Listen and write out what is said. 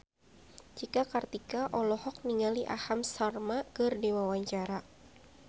Cika Kartika olohok ningali Aham Sharma keur diwawancara